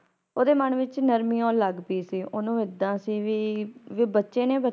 ਓਦੇ ਮਨ ਵਿੱਚ ਨਰਮੀ ਆਉਣ ਲੱਗੀ ਸੀ ਓਨੂੰ ਏਦਾਂ ਸੀ ਵੀ ਕੇ ਬੱਚੇ ਨੇ